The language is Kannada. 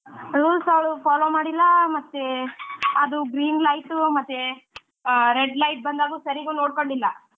Rules ಅವ್ಳು follow ಮಾಡ್ಲಿಲ್ಲಾ ಮತ್ತೇ ಅದು green light ಮತ್ತೇ red light ಬಂದಾಗ್ಲೂ ಸರೀಗೂ ನೋಡ್ಕೊಂಡಿಲ್ಲ,